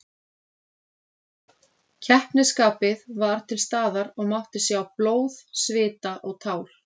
Keppnisskapið var til staðar og mátti sjá blóð, svita og tár.